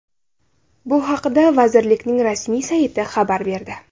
Bu haqda vazirlikning rasmiy sayti xabar berdi .